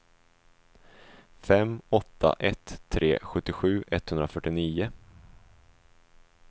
fem åtta ett tre sjuttiosju etthundrafyrtionio